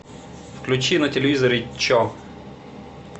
включи на телевизоре че